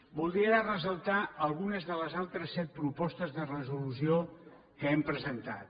voldria ressaltar alguna de les altres set propostes de resolució que hem presentat